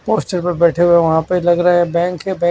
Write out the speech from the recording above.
poster पर बैठे हुए वहां पे लग रहा है बैंक है बै--